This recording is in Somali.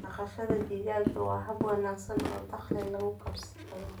Dhaqashada digaaga waa hab wanaagsan oo dakhli lagu kasbado.